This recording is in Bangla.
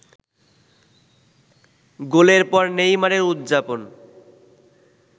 গোলের পর নেইমারের উদযাপন